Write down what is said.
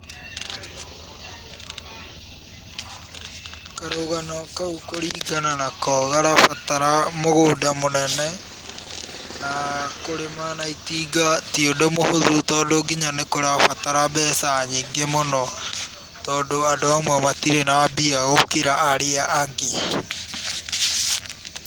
Karũgano kau kũringana nako karabatara mũgũnda mũnene, na kũrĩma na itinga ti ũndũ mũhũthũ, tondũ nginya nĩ kũrabatara mbeca nyingĩ mũno, tondũ andũ amwe matirĩ na mbia gũkĩra arĩa angĩ.